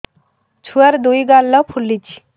ଛୁଆର୍ ଦୁଇ ଗାଲ ଫୁଲିଚି